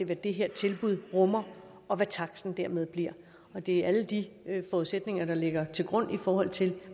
hvad det her tilbud rummer og hvad taksten dermed bliver og det er alle de forudsætninger der ligger til grund i forhold til